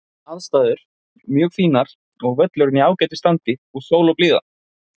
Aðstæður: Mjög fínar, völlurinn í ágætu standi og sól og blíða.